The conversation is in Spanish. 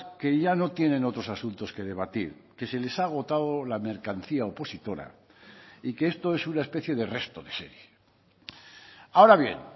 que ya no tienen otros asuntos que debatir que se les ha agotado la mercancía opositora y que esto es una especie de resto de serie ahora bien